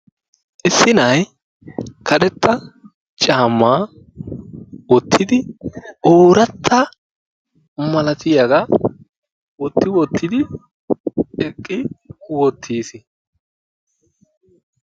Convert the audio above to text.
Issi na'ay karetta caamma wottidi, ooratta malatiyaga wotti wottidi eqqi wottiis.